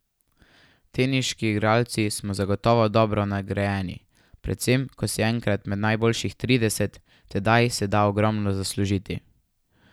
Teniški igralci smo zagotovo dobro nagrajeni, predvsem ko si enkrat med najboljših trideset, tedaj se da ogromno zaslužiti.